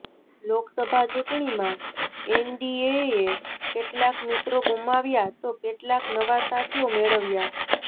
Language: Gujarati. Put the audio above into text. લોકસભા ચુંટણીમાં એનડીએએ કેટલાક મિત્રો ગુમાવ્યા તો કેટલાક નવા સાથીઓ મેળવ્યા